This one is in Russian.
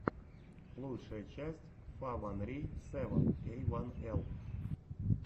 лучшая часть фа ван ри сэвэн эй ван эл